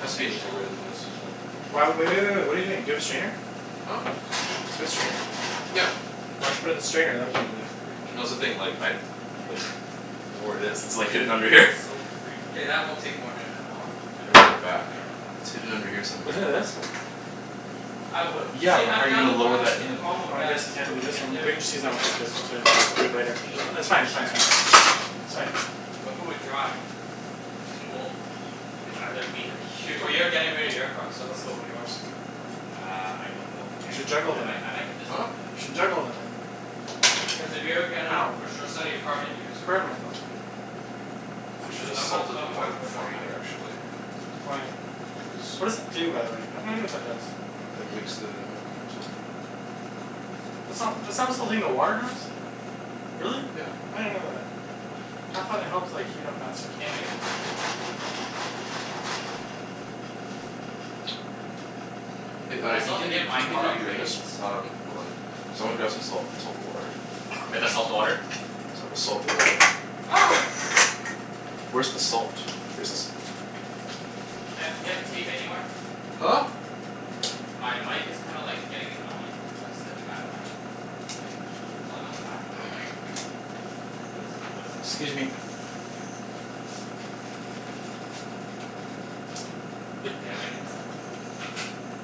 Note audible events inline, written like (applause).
Has to be an easier way than this. potential Why w- laser w- hair w- wait, wait. surgery. What are you doing? Do you have a strainer? Huh? Do you have a strainer? Cuz, Yeah. it's Why don't you put it freaking, in the strainer and then put it in there? shaving's freaking No, that's the annoying, thing, like man. I like don't know where it is. It's like, hidden under here. It's so freaking K, that annoying. won't take more than an hour. I I'm don't I gonna put don't it know. back. I don't know how long it's It's gonna hidden take. under here Isn't it somewhere. this? I would Yeah, say but I'm how are you down to gonna go lower after, that but the in? problem Oh, with I that is guess you can't when do we this get one? We there, can just use the that one Nike to d- store's probably to all do it closed later. and Ju- shit. We it's can fine, it's fine, it's check. fine. It's fine. But who would drive? (laughs) Well, it's either me or Well, you. you're getting rid of your car, so let's go with yours. Uh, I don't know if I'm You getting should rid of it. juggle I might them. I might get this one. Huh? Here, let me You show should you. juggle them in. Cuz if you're gonna Ow. for sure sell your car, then use I yours burned myself. obviously. I should Cuz have I'm (inaudible) not salted the selling mine water for another beforehand, year. actually. Why? Cuz What does it do, by the way? (inaudible) what that does. It makes the gnocchi more salty. Nope, not this one. This It's is the not one I already showed you. But this one's (inaudible) sold already. Really? Yeah. I didn't know that. I thought it helped like, heat up faster or Yeah, I might something. get this one. Hey, But uh I can still you have to continu- get my can you car continue doing appraised. this? Um, hold on. Cuz I wanna grab some salt and salt the water. We have to salt the water? (inaudible) Cuz I will salt the water. Ah! Where's the salt? Here's the salt. Chancey, do you have tape anywhere? Huh? My mic is kinda like, getting annoying cuz it's like, slipping outta my like, it keeps pulling on the back of my head. (noise) Kinda feels like what it's like to get, Excuse me. have hair. Yeah, I might (noise) get that one.